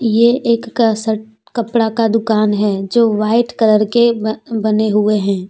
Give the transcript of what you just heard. ये एक कपड़ा का दुकान है जो व्हाइट कलर के अह बने हुए हैं।